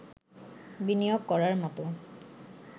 বিনিয়োগ করার মতো